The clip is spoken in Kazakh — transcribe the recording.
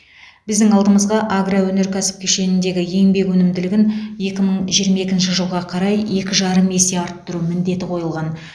біздің алдымызға агроөнеркәсіп кешеніндегі еңбек өнімділігін екі мың жиырма екінші жылға қарай екі жарым есе арттыру міндеті қойылған